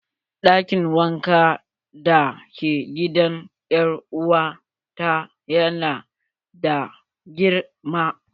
Ɗakin wanka da ke gidan er'uwa ta yana da girma.